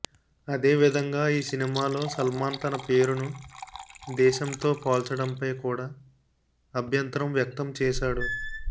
అదే విధంగా ఈ సినిమాలో సల్మాన్ తన పేరును దేశంతో పోల్చడంపై కూడా అభ్యంతరం వ్యక్తం చేసాడు